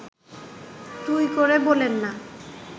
তুই করে বলেন না